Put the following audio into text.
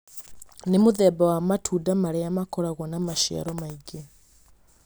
Nĩ mũthemba wa matunda marĩa makoragwo na maciaro maingĩ